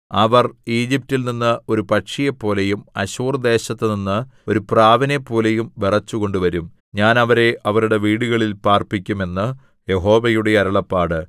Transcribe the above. അവർ ഈജിപ്റ്റിൽ നിന്ന് ഒരു പക്ഷിയെപ്പോലെയും അശ്ശൂർദേശത്തുനിന്ന് ഒരു പ്രാവിനെപ്പോലെയും വിറച്ചുകൊണ്ട് വരും ഞാൻ അവരെ അവരുടെ വീടുകളിൽ പാർപ്പിക്കും എന്ന് യഹോവയുടെ അരുളപ്പാട്